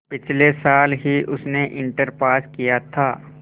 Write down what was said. पिछले साल ही उसने इंटर पास किया था